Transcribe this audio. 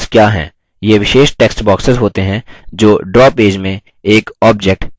वे विशेष text boxes होते हैं जो ड्रा पेज में